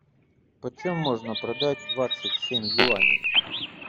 почем можно продать двадцать семь юаней